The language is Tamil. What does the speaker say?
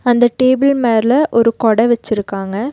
அந்த டேபிள் மேல ஒரு கொட வச்சிருக்காங்க.